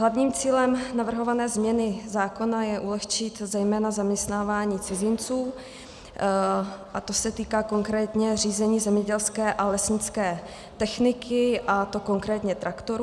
Hlavním cílem navrhované změny zákona je ulehčit zejména zaměstnávání cizinců, a to se týká konkrétně řízení zemědělské a lesnické techniky, a to konkrétně traktorů.